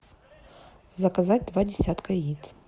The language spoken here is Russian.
заказать два десятка яиц